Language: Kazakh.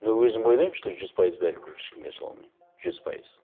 но өзім ойлаймын что жүз пайыз бәрібір ешкімге ашыла алмаймын жүз пайыз